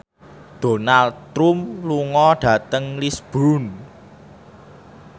Donald Trump lunga dhateng Lisburn